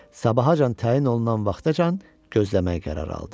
Sabahacan təyin olunan vaxtacan gözləməyə qərar aldı.